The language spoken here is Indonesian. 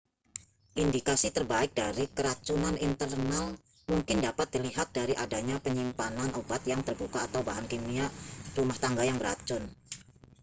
indikasi terbaik dari keracunan internal mungkin dapat dilihat dari adanya penyimpanan obat yang terbuka atau bahan kimia rumah tangga yang beracun